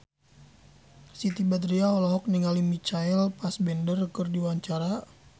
Siti Badriah olohok ningali Michael Fassbender keur diwawancara